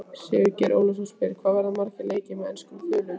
Sigurgeir Ólafsson spyr: Hvað verða margir leikir með enskum þulum?